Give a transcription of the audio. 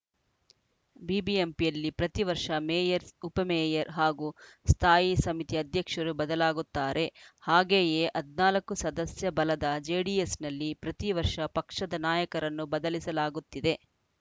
ಬಿಬಿಎಂಪಿಯಲ್ಲಿ ಪ್ರತಿ ವರ್ಷ ಮೇಯರ್‌ ಉಪ ಮೇಯರ್‌ ಹಾಗೂ ಸ್ಥಾಯಿ ಸಮಿತಿ ಅಧ್ಯಕ್ಷರು ಬದಲಾಗುತ್ತಾರೆ ಹಾಗೆಯೇ ಹದಿನಾಲ್ಕು ಸದಸ್ಯ ಬಲದ ಜೆಡಿಎಸ್‌ನಲ್ಲಿ ಪ್ರತಿ ವರ್ಷ ಪಕ್ಷದ ನಾಯಕರನ್ನು ಬದಲಿಸಲಾಗುತ್ತಿದೆ